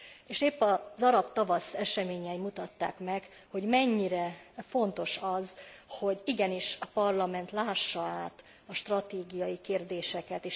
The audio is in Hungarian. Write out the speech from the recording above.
És épp az arab tavasz eseményei mutatták meg, hogy mennyire fontos az, hogy igenis a Parlament lássa át a stratégiai kérdéseket.